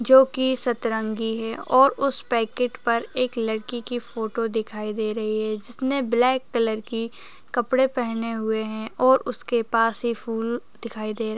जोकि सतरंगी है और उस पैकेट पर एक लड़की की फोटो दिखाई दे रही है जिसने ब्लैक कलर की कपडे पहने हुए हैं और उसके पास एक फूल दिखाई दे --